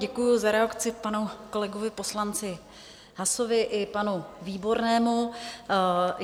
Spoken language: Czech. Děkuji za reakci panu kolegovi poslanci Haasovi i panu Výbornému.